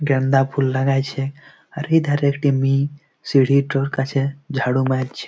গেন্দা ফুল লাগাইছে । আর এই ধারে একটি মেয়ে সিঁড়িটোর কাছে ঝাড়ু মারছে।